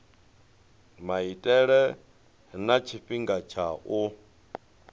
maitele na tshifhinga tsha u